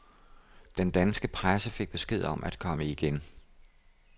Den danske presse fik besked om at komme igen.